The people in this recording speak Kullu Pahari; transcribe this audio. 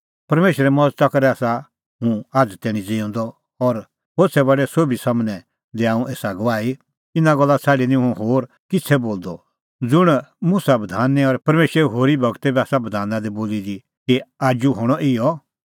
परमेशरे मज़ता करै आसा हुंह आझ़ तैणीं ज़िऊंदअ और होछ़ै बडै सोभी सम्हनै दैआ हुंह एसा गवाही इना गल्ला छ़ाडी निं हुंह होर किछ़ै बोलदअ ज़ुंण मुसा गूरै और परमेशरे होरी गूरै बी आसा बधाना दी बोली दी कि आजू हणअ इहअ